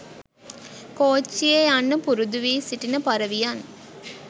කෝච්චියේ යන්න පුරුදු වී සිටින පරවියන්.